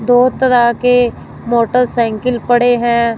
दो तरह के मोटरसाइकिल पड़े हैं।